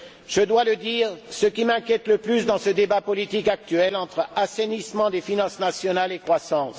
Je dois le dire, ce qui m'inquiète le plus, c'est ce débat politique actuel entre assainissement des finances nationales et croissance.